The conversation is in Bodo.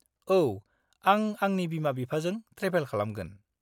-औ, आं आंनि बिमा बिफाजों ट्रेभेल खालामगोन।